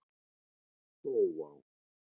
Hrófá